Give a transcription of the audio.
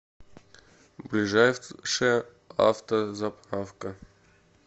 ближайшая автозаправка